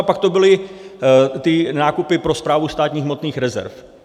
A pak to byly ty nákupy pro Správu státních hmotných rezerv.